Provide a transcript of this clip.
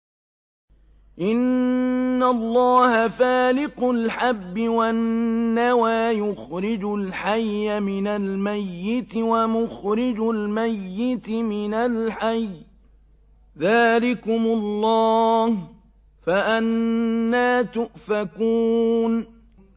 ۞ إِنَّ اللَّهَ فَالِقُ الْحَبِّ وَالنَّوَىٰ ۖ يُخْرِجُ الْحَيَّ مِنَ الْمَيِّتِ وَمُخْرِجُ الْمَيِّتِ مِنَ الْحَيِّ ۚ ذَٰلِكُمُ اللَّهُ ۖ فَأَنَّىٰ تُؤْفَكُونَ